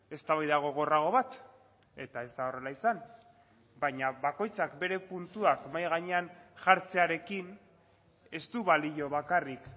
eztabaida gogorrago bat eta ez da horrela izan baina bakoitzak bere puntuak mahai gainean jartzearekin ez du balio bakarrik